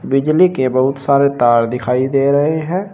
बिजली के बहुत सारे तार दिखाई दे रहे हैं।